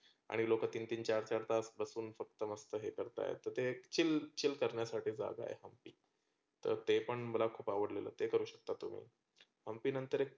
आणि लोक तीन तीन चार चार तास बसून स्वस्त मस्त ते करताये. तर ते chill chill करण्यासाठी जागा आहे. तर ते पण मला खुप आवडलेलं ते करू शकता तुम्ही. हंम्पी नंतर एक